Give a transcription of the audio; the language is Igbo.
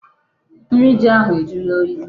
Nri ji ahụ ajụla oyi.